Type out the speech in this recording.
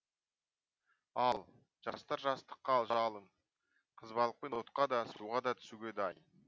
ал жастар жастық жалын қызбалықпен отқа да суға да түсуге дайын